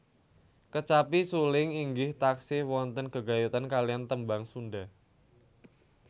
Kecapi suling inggih taksih wonten gegayutan kaliyan tembang Sunda